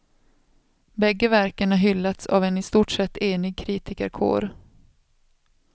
Bägge verken har hyllats av en i stort sett enig kritikerkår.